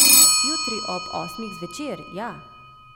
Jutri ob osmih zvečer, ja.